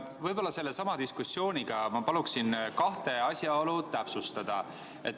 Ma palun sellesama diskussiooniga seoses kahte asjaolu täpsustada.